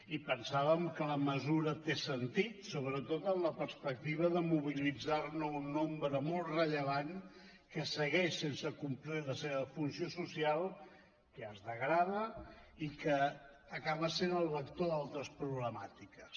i pensàvem que la mesura té sentit sobretot en la perspectiva de mobilitzar ne un nombre molt rellevant que segueix sense complir la seva funció social que es degrada i que acaba sent el vector d’altres problemàtiques